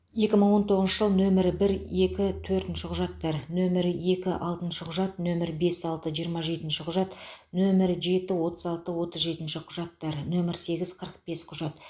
екі мың он тоғызыншы жыл нөмірі бір екі төртінші құжаттар нөмірі екі алтыншы құжат нөмірі бес алты жиырма жетінші құжат нөмірі жеті отыз алты отыз жетінші құжаттар нөмірі сегіз қырық бес құжат